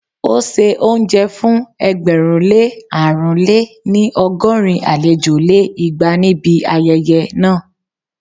ó se oúnjẹ fún ẹgbẹ̀rún lé àrún lé-ní- ọgọ́rin àlejò lé igba níbi ayẹyẹ náà